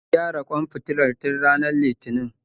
An gyara ƙwan fitilar tun ranar litinin